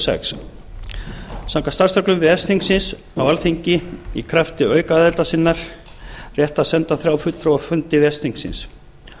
sex samkvæmt starfsreglum ves þingsins á alþingi í krafti aukaaðildar sinnar rétt á að senda þrjá fulltrúa á fundi ves þingsins